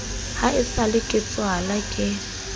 ha esale ke tswalwa ke